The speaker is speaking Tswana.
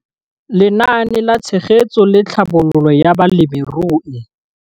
Lenaane la Tshegetso le Tlhabololo ya Balemirui.